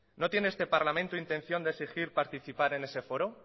no tiene este parlamento intención de exigir participar en ese foro